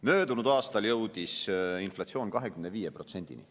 Möödunud aastal jõudis inflatsioon 25%‑ni.